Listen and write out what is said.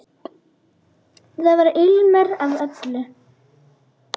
Þar var ilmur af öllu.